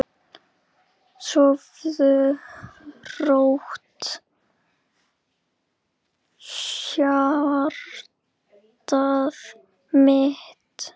Sofðu rótt, hjartað mitt.